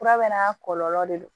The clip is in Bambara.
Fura bɛɛ n'a kɔlɔlɔ de don